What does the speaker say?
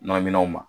Nɔnɔminɛnw ma